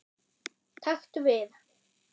Taktu við.